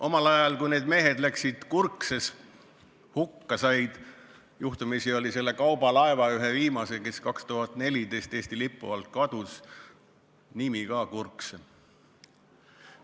Omal ajal, kui need mehed Kurkses hukka said – juhtumisi oli selle kaubalaeva, ühe viimase, kes 2014 Eesti lipu alt kadus, nimi samuti Kurkse.